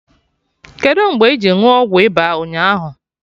Kedụ mgbe iji ṅụọ ọgwụ ịba ụnyaahụ